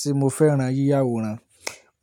Ṣé mo fẹ́ran yíya àwòrán?